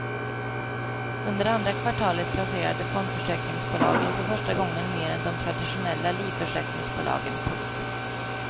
Under andra kvartalet placerade fondförsäkringsbolagen för första gången mer än de traditionella livförsäkringsbolagen. punkt